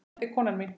Þetta er konan mín!